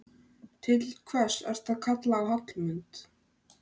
Til hvers ertu að kalla á Hallmund?